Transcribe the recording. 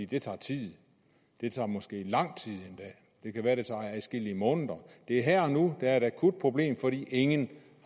det tager tid det tager måske endda lang tid det kan være det tager adskillige måneder det er her og nu der er et akut problem fordi ingen